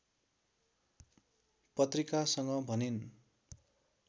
पत्रिकासँग भनिन्